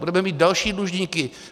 Budeme mít další dlužníky.